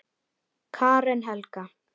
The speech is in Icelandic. Karen Helga.